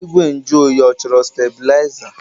Igwe nju oyi ọ chọrọ steblaịza?